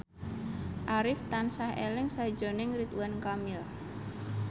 Arif tansah eling sakjroning Ridwan Kamil